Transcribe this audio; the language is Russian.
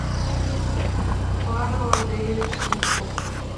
павел андреевич сундуков